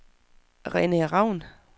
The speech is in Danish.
Rene Ravn